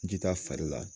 Ji ta farila